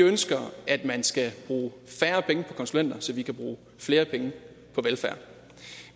ønsker at man skal bruge færre penge på konsulenter så vi kan bruge flere penge på velfærd